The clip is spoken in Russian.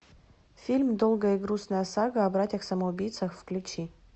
фильм долгая и грустная сага о братьях самоубийцах включи